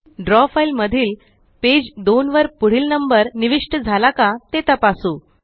द्रव फ़ाइल मधील पेज 2वर पुढील नंबर निविष्ट झाला का ते तपासू